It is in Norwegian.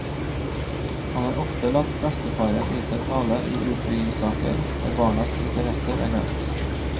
Han har ofte latt bestefaren i seg tale i utbyggingssaker der barnas interesser er glemt.